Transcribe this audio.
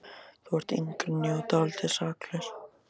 Þú ert yngri en ég og dálítið saklaus.